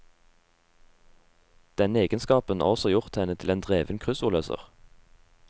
Denne egenskapen har også gjort henne til en dreven kryssordløser.